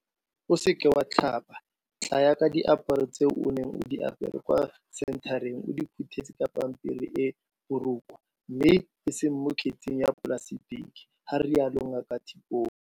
O seka wa tlhapa, tlaya ka diaparo tseo o neng o di apere kwa senthareng o di phuthetse ka pampiri e e borokwa mme eseng mo kgetseng ya polasetiki, ga rialo Ngaka Tipoy.